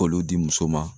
K'olu di muso ma